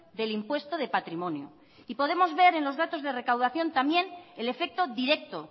del impuesto de patrimonio y podemos ver en los datos de recaudación también el efecto directo